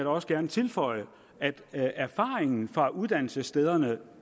også gerne tilføje at erfaringen fra uddannelsesstederne